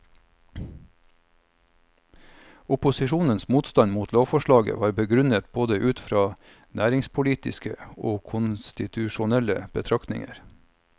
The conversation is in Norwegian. Opposisjonens motstand mot lovforslaget var begrunnet både ut fra næringspolitiske og konstitusjonelle betraktninger.